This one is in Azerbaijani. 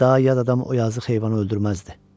Daha yad adam o yazıq heyvanı öldürməzdi.